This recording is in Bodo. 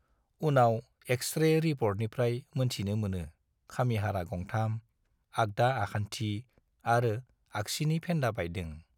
उनाव एक्सरे रिपर्टनिफ्राय मोनथिनो मोनो खामिहारा गंथाम, आगदा आखान्थि आरो आगसिनि फेन्दा बायदों।